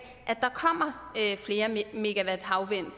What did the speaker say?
der kommer flere megawatt havvind for